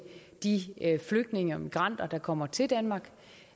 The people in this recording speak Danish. de flygtninge og migranter der kommer til danmark